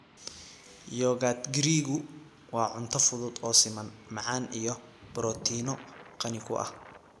Yogurt Giriiggu waa cunto fudud oo siman, macaan iyo borotiinno qani ku ah.